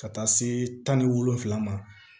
Ka taa se tan ni wolonwula ma